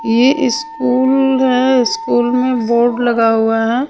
ये स्कूल है स्कूल में बोर्ड लगा हुआ है .